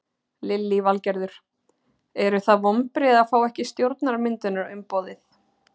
Lillý Valgerður: Eru það vonbrigði að fá ekki stjórnarmyndunarumboðið?